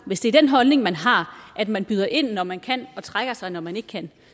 hvis det er den holdning man har at man byder ind når man kan og trækker sig når man ikke kan